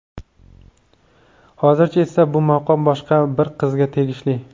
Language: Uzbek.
Hozircha esa bu maqom boshqa bir qizga tegishli.